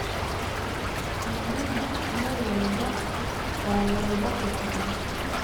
Idaha meel walba waa lagu dhaqi karaa.